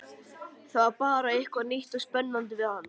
Það var bara eitthvað nýtt og spennandi við hann.